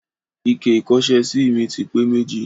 Ike ìkọ́ṣẹ́sí mi ti pé méjì.